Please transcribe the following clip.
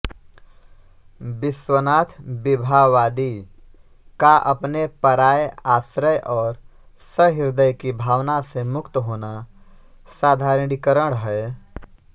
विश्वनाथ विभावादि का अपने पराये आश्रय और सहृदय की भावना से मुक्त होना साधारणीकरण है